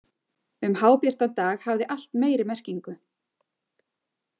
Um hábjartan dag hafði allt meiri merkingu.